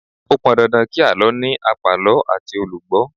Ó pọn dandan kí àlọ́ ní àpàlọ́ àti olùgbó